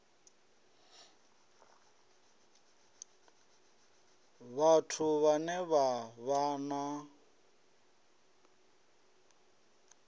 vhathu vhane vha vha na